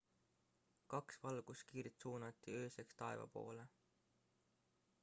kaks valguskiirt suunati ööseks taeva poole